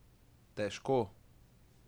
Težko!